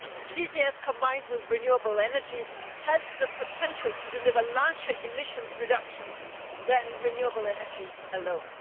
CCS combined with renewable energy has the potential to deliver larger emissions reductions than renewable energy alone.